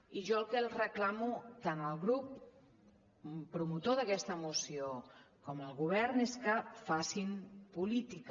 i jo el que els reclamo tant al grup promotor d’aquesta moció com al govern és que facin política